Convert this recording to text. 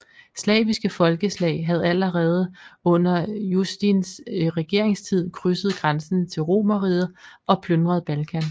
Slaviske folkeslag havde allerede under Justins regeringstid krydset grænsen til Romerriget og plyndret Balkan